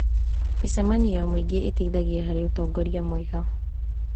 Mĩcemanio ya mũingĩ ĩteithagia harĩ ũtongoria mwega.